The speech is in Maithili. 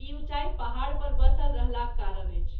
ई उँचाई पहाड़ पर बसल रहलाक कारण अछि।